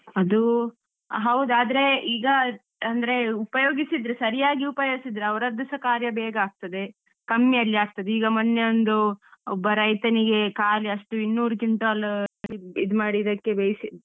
ಅದು ಹೌದು, ಆದ್ರೆ ಈಗ ಅಂದ್ರೆ ಉಪಯೋಗಿಸಿದ್ರೆ ಸರಿಯಾಗಿ ಉಪಯೋಗಿಸಿದ್ರೆ ಅವರದ್ದುಸ ಕಾರ್ಯ ಬೇಗ ಆಗ್ತದೆ. ಕಮ್ಮಿಯಲ್ಲಿ ಆಗ್ತದೆ. ಈಗ ಮೊನ್ನೆ ಒಂದು ಒಬ್ಬ ರೈತನಿಗೆ ಖಾಲಿ ಅಷ್ಟು ಇನ್ನೂರು quintal ಇದ್ಮಾಡಿ ಬೆಳ್ಸಿ,